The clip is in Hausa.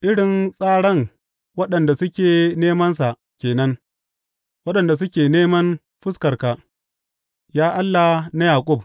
Irin tsaran waɗanda suke nemansa ke nan, waɗanda suke neman fuskarka, ya Allah na Yaƙub.